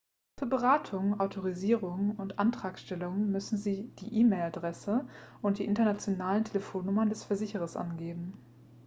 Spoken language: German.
für beratungen/autorisierungen und antragstellungen müssen sie die e-mail-adresse und die internationalen telefonnummern des versicherers angeben